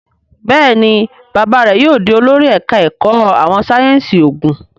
Béèni bàbá rẹ yóò dì olórí ẹka èkó àwọn sáyẹnsì oògùn.